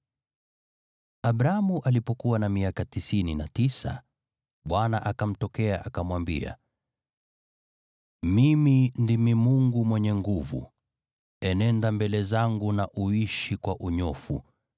Abramu alipokuwa na miaka tisini na tisa, Bwana akamtokea akamwambia, “Mimi ndimi Mungu Mwenyezi; enenda mbele zangu na uishi kwa unyofu.